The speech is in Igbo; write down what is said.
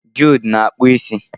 Jude na akpu isi.